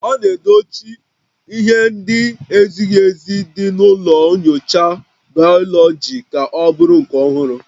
A na-edochi ihe ndị na-ezighị ezi dị na ụlọ nyocha bayoloji ka ọ bụrụ nke ọhụrụ